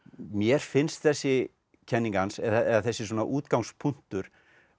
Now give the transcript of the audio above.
mér finnst þessi kenning hans eða þessi útgangspunktur